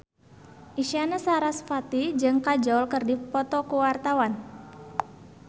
Isyana Sarasvati jeung Kajol keur dipoto ku wartawan